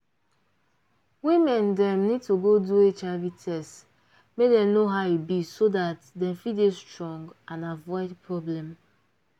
women dem need to go do hiv test make dem know how e be so dat dem fit dey strong and avoid problem